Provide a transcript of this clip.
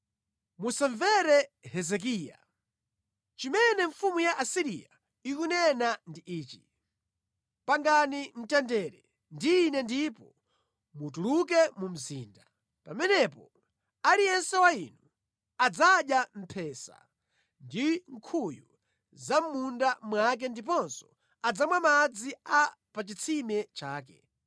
“Musamumvere Hezekiya. Zimene mfumu ya ku Asiriya ikunena ndi izi: Pangani mtendere ndi ine ndipo mutuluke mu mzinda. Mukatero aliyense wa inu adzadya mphesa ndi nkhuyu za mʼmunda mwake ndiponso adzamwa madzi a mʼchitsime chake,